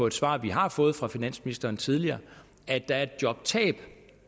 et svar vi har fået fra finansministeren tidligere at der er et jobtab